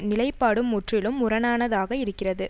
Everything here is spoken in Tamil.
நிலைப்பாடு முற்றிலும் முரணானதாக இருக்கிறது